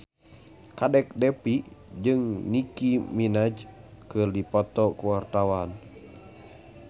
Kadek Devi jeung Nicky Minaj keur dipoto ku wartawan